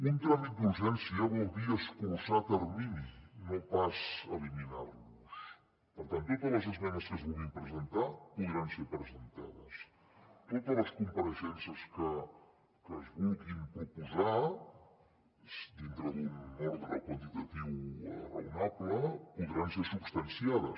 un tràmit d’urgència vol dir escurçar terminis no pas eliminar los per tant totes les esmenes que es vulguin presentar podran ser presentades totes les compareixences que es vulguin proposar dintre d’un ordre quantitatiu raonable podran ser substanciades